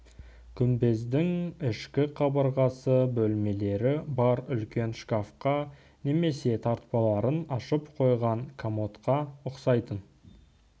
күмбездің ішкі қабырғасы бөлмелері бар үлкен шкафқа немесе тартпаларын ашып қойған комодқа ұқсайтын